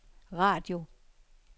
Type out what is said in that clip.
radio